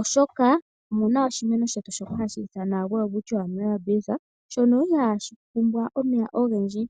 oshoka omuna oshimeno shono hashi ithanwa Welwitchia millabills shono ihashi pumbwa omeya ogendji.